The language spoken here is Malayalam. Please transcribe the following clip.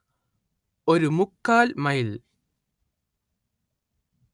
ഒരു മുക്കാൽ മൈലിൽ